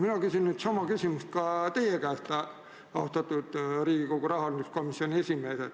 Ma küsin nüüd sama küsimuse ka teie käest, austatud Riigikogu rahanduskomisjoni esimees.